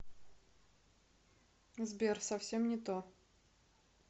сбер совсем не то